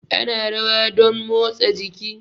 Ana rawa domn motsa jiki